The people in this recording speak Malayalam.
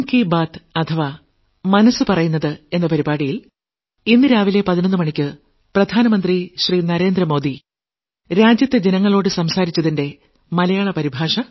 തീയതി രാവിലെ 11 മണിയ്ക്ക് ഭാരത ജനതയോട് ആകാശവാണിയിലൂടെ നടത്തിയ പ്രത്യേക പ്രക്ഷേപണത്തിന്റെ മലയാള പരിഭാഷ